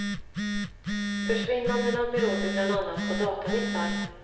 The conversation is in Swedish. Försvinnandena berodde bland annat på datamissar.